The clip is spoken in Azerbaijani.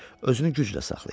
Özünü güclə saxlayır.